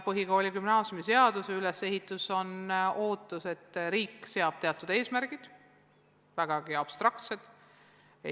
Põhikooli- ja gümnaasiumiseaduses on teatud ülesehitus ja on ootus, et riik seab eesmärgid, need on väga abstraktsed.